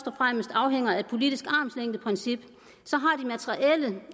og fremmest afhænger af det politiske armslængdeprincip så